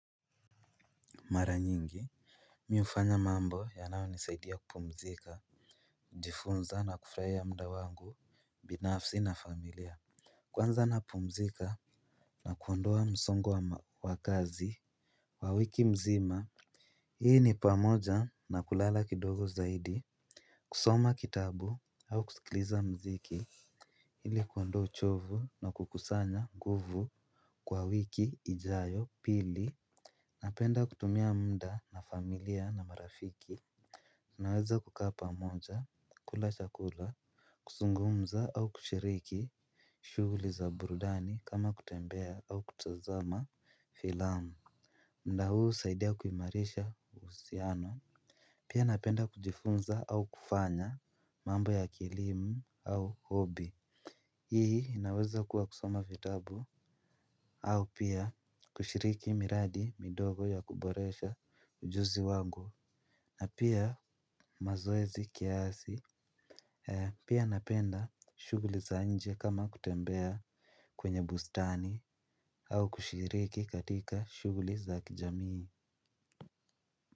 Mara nyingi mimi hufanya mambo yanayo nisaidia kupumzika. Jifunza na kufurahia muda wangu binafsi na familia. Kwanza napumzika na kuondoa msongo wa kazi wa wiki mzima. Hii ni pamoja na kulala kidogo zaidi. Kusoma kitabu au kusikiliza mziki ili kuondoa uchovu na kukusanya nguvu kwa wiki ijayo pili. Napenda kutumia muda na familia na marafiki tunaweza kukaa moja, kula chakula, kuzungumza au kushiriki shughuli za burudani kama kutembea au kutazama filamu. Muda huu husaidia kuimarisha husiano. Pia napenda kujifunza au kufanya mambo ya kilimu au hobi. Hii inaweza kuwa kusoma vitabu. Au pia kushiriki miradi midogo ya kuboresha ujuzi wangu. Na pia mazoezi kiasi. Pia napenda shughuli za nje kama kutembea kwenye bustani. Au kushiriki katika shughuli za kijamii.